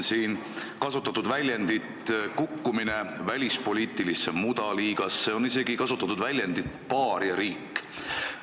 Siin on kasutatud väljendit "kukkumine välispoliitilisse mudaliigasse" ja isegi väljendit "paariariik".